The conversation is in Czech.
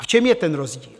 A v čem je ten rozdíl?